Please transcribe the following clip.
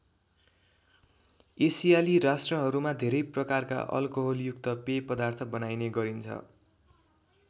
एसियाली राष्ट्रहरूमा धेरै प्रकारका अलकोहलयुक्त पेय पदार्थ बनाइने गरिन्छ।